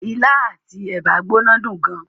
Ilá àti ẹ̀bà gbóná dùn gan.